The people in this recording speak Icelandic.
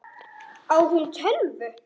Á hún tölvu?